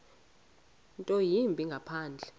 nto yimbi ngaphandle